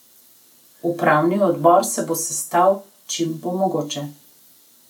Upravni odbor se bo sestal, čim bo mogoče.